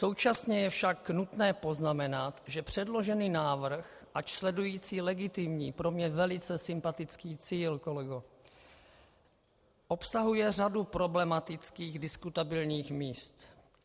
Současně je však nutné poznamenat, že předložený návrh, ač sledující legitimní, pro mne velice sympatický cíl, kolego, obsahuje řadu problematických diskutabilních míst.